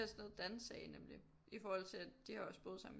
Det er sådan noget Dan sagde nemlig i forhold til at de har også boet sammen